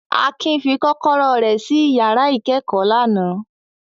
Akin fi kọ́kọ́rọ́ rẹ̀ ṣí ìyàrá ìkẹ́kọ̀ọ́ lánàá.